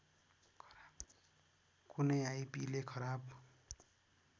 कुनै आइपिले खराब